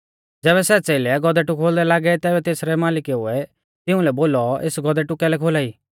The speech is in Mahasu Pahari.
ज़ैबै सै च़ेलै गौधेटु खोलदै लागै तैबै तेसरै मालिकुऐ तिऊं लै बोलौ एस गौधेटु कैलै खोलाई